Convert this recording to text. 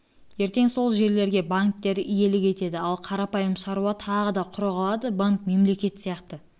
сол жерлерге банктер иелік етеді ал қарапайым шаруа тағы да құр қалады банк мемлекет сияқты